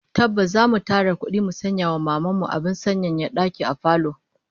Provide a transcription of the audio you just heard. Tabbas zamu tara kudi mu sanya wa Maman mu abin sanyaya daki a falo